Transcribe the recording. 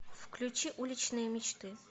включи уличные мечты